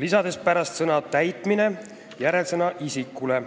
lisades pärast sõna "täitmine" sõna "isikule".